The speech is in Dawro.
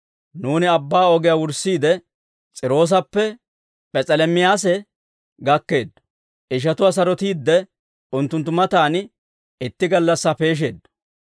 Nuuni abbaa ogiyaa wurssiide, S'iiroosappe P'es'elemayse gakkeeddo; ishatuwaa sarotiidde, unttunttu matan itti gallassaa peesheeddo.